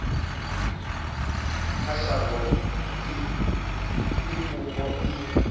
kha shango i fhungo i